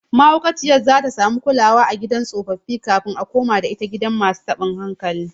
Mahaukaciyar zata samu kulawa a gidan tsofaffi kafin a komada ita gidan masu tabin hankali